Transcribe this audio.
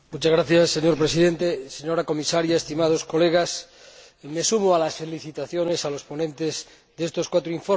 Señor Presidente, señora Comisaria, estimados colegas, me sumo a las felicitaciones a los ponentes de estos cuatro informes.